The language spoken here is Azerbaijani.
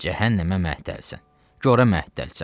Cəhənnəmə məhtəlsən, gorə məhtəlsən.